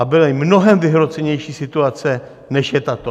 A byly mnohem vyhrocenější situace, než je tato.